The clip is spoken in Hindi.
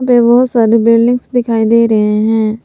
बे बहोत सारे बिल्डिंग्स दिखाई दे रहे हैं।